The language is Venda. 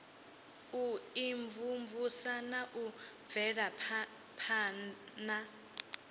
u imvumvusa na u bvelaphana